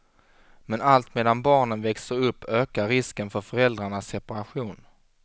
Men allt medan barnen växer upp ökar risken för föräldrarnas separation.